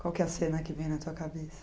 Qual que é a cena que vem na tua cabeça?